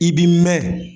I b'i mɛn